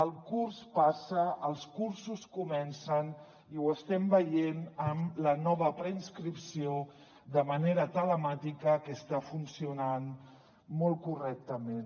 el curs passa els cursos comencen i ho estem veient amb la nova preinscripció de manera telemàtica que està funcionant molt correctament